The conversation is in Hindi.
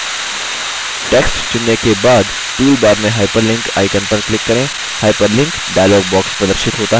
text चुनने के बाद toolbar में hyperlink icon पर click करें